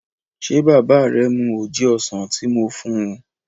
Ṣé bàbá rẹ mu oje ọsàn tí moo fún un?